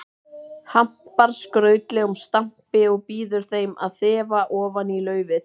Hampar skrautlegum stampi og býður þeim að þefa ofan í laufið.